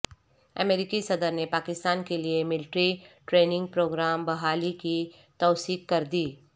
امریکی صدر نے پاکستان کیلئے ملٹری ٹریننگ پروگرام بحالی کی توثیق کردی